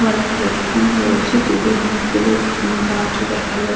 গলায় headphone রয়েছে দূরে অনেক গুলো গাছ ও দেখা যাচ্ছে।